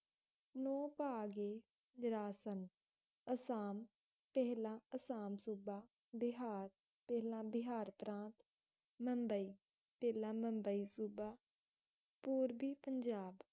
ਨੋਭਾਗੇ ਵਿਰਾਸਨ ਅਸਾਮ, ਪਹਿਲਾਂ ਅਸਾਮ ਸੂਬਾ, ਬਿਹਾਰ, ਪਹਿਲਾ ਬਿਹਾਰ ਪ੍ਰਾਂਤ, ਮੁੰਬਈ, ਪਹਿਲਾਂ ਮੁੰਬਈ ਸੂਬਾ, ਪੂਰਵੀ ਪੰਜਾਬ